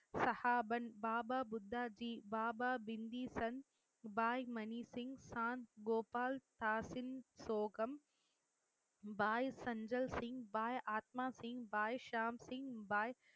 சஹாபன் பாபா புத்தாத்தி பாபா, பிந்தீசன் பாய் மணி சிங் சாந்த் கோபால் தாசின் சோகம் பாய் சஞ்சல் சிங் பாய் ஆத்மா சிங் பாய் ஷாம்சிங் பாய்